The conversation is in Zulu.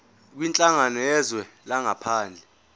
kwinhlangano yezwe langaphandle